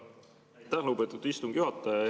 Aitäh, lugupeetud istungi juhataja!